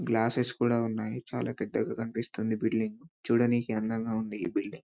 Glasses కూడా ఉన్నాయి చాల పెద్దగా కనిపిస్తుంది ఈ బిల్డింగ్ చూడడానికి అందంగా ఉంది ఈ బిల్డింగ్ .